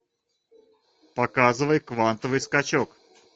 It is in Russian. показывай квантовый скачок